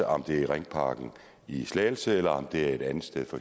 om det er i ringparken i slagelse eller om det er et andet sted for